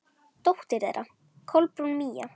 Dóttir þeirra: Kolbrún Mía.